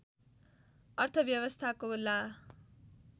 अर्थव्यवस्थाको ला